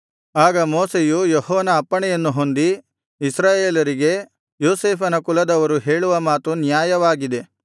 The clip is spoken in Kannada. ಆಗ ಮೋಶೆಯು ಯೆಹೋವನ ಅಪ್ಪಣೆಯನ್ನು ಹೊಂದಿ ಇಸ್ರಾಯೇಲರಿಗೆ ಯೋಸೇಫನ ಕುಲದವರು ಹೇಳುವ ಮಾತು ನ್ಯಾಯವಾಗಿದೆ